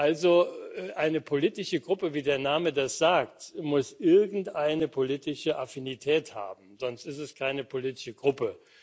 Also eine politische Gruppe, wie der Name das sagt, muss irgendeine politische Affinität haben, sonst ist es keine politische Gruppe.